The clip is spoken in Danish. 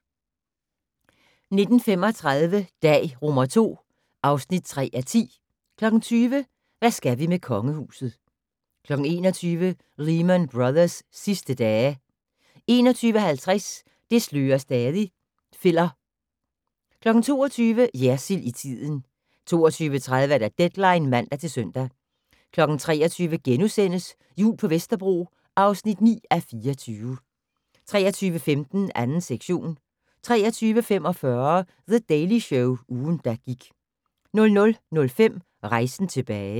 19:35: Dag II (3:10) 20:00: Hvad skal vi med Kongehuset 21:00: Lehman Brothers' sidste dage 21:50: Det slører stadig - filler 22:00: Jersild i tiden 22:30: Deadline (man-søn) 23:00: Jul på Vesterbro (9:24)* 23:15: 2. sektion 23:45: The Daily Show - ugen, der gik 00:05: Rejsen tilbage